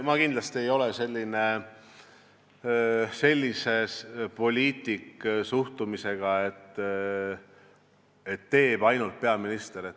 Ma kindlasti ei ole sellise suhtumisega poliitik, et teeb ainult peaminister.